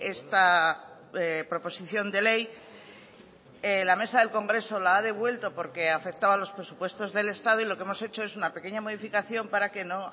esta proposición de ley la mesa del congreso la ha devuelto porque afectaba a los presupuestos del estado y lo que hemos hecho es una pequeña modificación para que no